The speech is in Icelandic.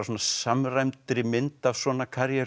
samræmdri mynd af svona